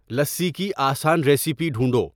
لسی کی آسان ریسیپی ڈھونڈو